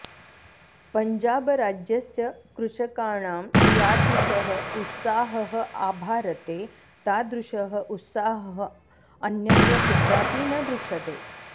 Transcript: पञ्जाबराज्यस्य कृषकाणां यादृशः उत्साहः आभारते तादृशः उत्साहः अन्यत्र कुत्रापि न दृश्यते